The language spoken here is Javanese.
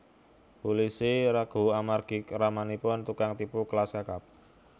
Pulisi ragu amargi ramanipun tukang tipu kelas kakap